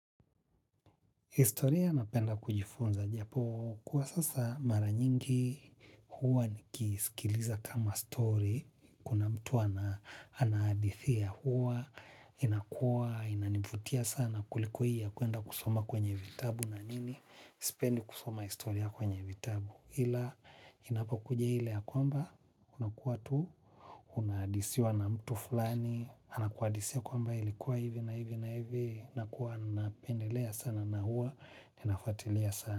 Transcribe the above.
Historia napenda kujifunza japo, kuwa sasa mara nyingi huwa nikisikiliza kama story, kuna mtu anaadithia huwa, inakua, inanivutia sana kuliko i ya kuenda kusoma kwenye vitabu na nini, sependi kusoma historia kwenye vitabu. Ila inapokuja hile ya kwamba, unakuwa tu, unadisiwa na mtu fulani, anakuadisiwa kwamba ilikuwa hivi na hivi na hivi, nakuwa napendelea sana na huwa, ninafuatilia sana.